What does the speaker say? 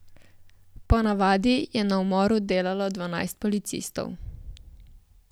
Po navadi je na umoru delalo dvanajst policistov.